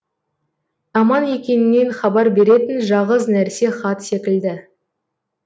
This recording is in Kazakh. аман екеніңнен хабар беретін жағыз нәрсе хат секілді